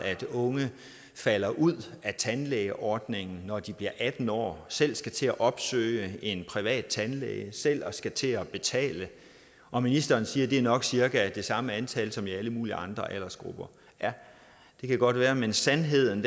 unge falder ud af tandlægeordningen når de bliver atten år og selv skal til at opsøge en privat tandlæge og selv skal til at betale at ministeren siger at det nok cirka er det samme antal som i alle mulige andre aldersgrupper det kan godt være men sandheden